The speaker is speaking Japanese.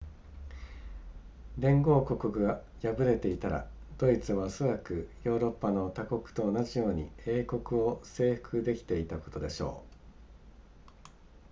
連合国が敗れていたらドイツはおそらくヨーロッパの他国と同じように英国を征服できていたことでしょう